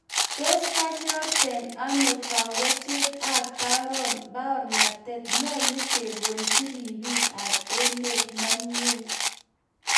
Tos kanyorten ano kawechet ap paornatet? Nyalu keng'ololji ribik ap emet, manye?